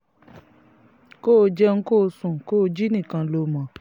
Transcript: kó o jẹun kó o sùn kó o jí nìkan ló mọ̀